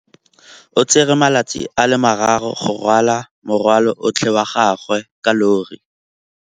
O tsere malatsi a le marraro go rwala morwalo otlhe wa gagwe ka llori.